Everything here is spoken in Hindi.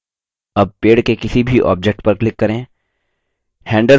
अब पेड़ के किसी भी object पर click करें